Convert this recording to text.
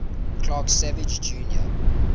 clark savage jr